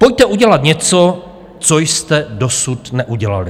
Pojďte udělat něco, co jste dosud neudělali.